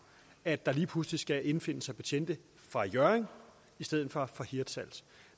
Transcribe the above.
at der lige pludselig skal indfinde sig betjente fra hjørring i stedet for fra hirtshals